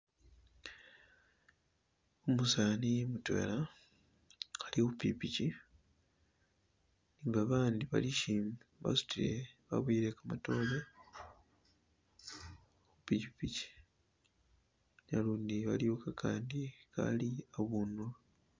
Umusani mutwela ali khupikipiki ne babandi balishimbi basutile baboyele kamatore khupikipiki nalundi waliyo kakandi akali abundu.